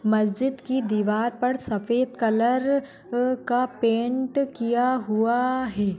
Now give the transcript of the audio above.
मस्जिद की दीवार पर सफ़ेद कलर अह का पेन्ट किया हुआ है।